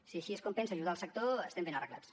si així és com pensa ajudar el sector estem ben arreglats